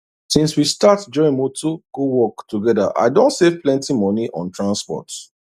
since we start join motor go work together i don save plenty money on transport